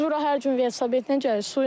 Biz bura hər gün velosipedlə gəlirik.